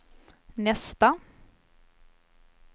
nästa